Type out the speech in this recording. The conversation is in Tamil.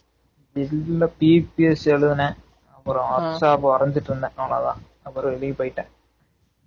இல்ல PPS எழுதுனேன் அப்பறம் workshop வரண்சுட்டு இருந்தன் அவளோதான் அப்பறம் வெளிய போய்டேன்